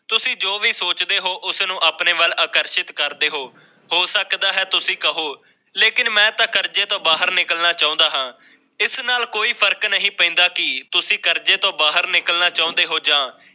ਤੁਸੀਂ ਜੋ ਵੀ ਸੋਚਦੇ ਹੋ ਉਸ ਨੂੰ ਆਪਣੇ ਵੱਲ ਆਕਰਸ਼ਿਤ ਕਰਦੇ ਹੋ। ਹੋ ਸਕਦਾ ਹੈ ਤੁਸੀਂ ਕਹੋ ਲੇਕਿਨ ਮੈਂ ਤਾ ਕਰਜੇ ਤੋਂ ਬਾਹਰ ਨਿਕਲਣਾ ਚਾਹੁੰਦਾ ਹਾਂ। ਇਸ ਨਾਲ ਕੋਈ ਫਰਕ ਨੀ ਪਹਿੰਦਾ ਕਿ ਤੁਸੀਂ ਕਰਜੇ ਚੋ ਬਾਹਰ ਨਿਕਲਣਾ ਚਾਹੁੰਦੇ ਹੋ ਜਾ